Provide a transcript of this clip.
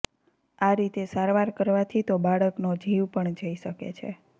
આ રીતે સારવાર કરવાથી તો બાળકનો જીવ પણ જઈ શકે છે